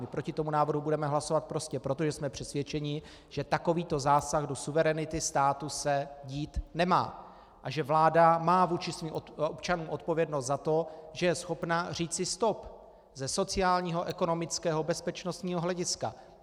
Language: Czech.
My proti tomu návrhu budeme hlasovat prostě proto, že jsme přesvědčeni, že takovýto zásah do suverenity státu se dít nemá a že vláda má vůči svým občanům odpovědnost za to, že je schopna říci stop, ze sociálního, ekonomického, bezpečnostního hlediska.